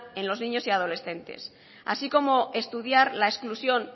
en los niños y adolescentes así como estudiar la exclusión